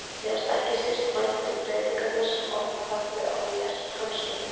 Mér fannst ekki síst vænt um breytingarnar sem orðið höfðu á mér hans vegna.